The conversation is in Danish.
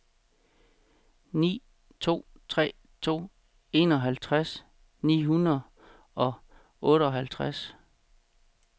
ni to tre to enoghalvtreds ni hundrede og otteoghalvtreds